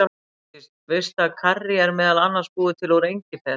Ásdís, veistu að karrí er meðal annars búið til úr engifer?